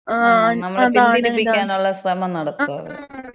ങ്ങാ. നമ്മള പിന്തിരിപ്പിക്കാനുള്ള ശ്രമം നടത്തും അവര്.